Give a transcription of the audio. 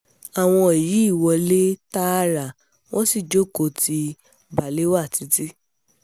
àwọn yìí wọlé tààrà wọ́n sì jókòó ti balewa títì